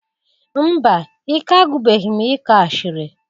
Mba! Ike agwụbeghi m ịkọ asịrị.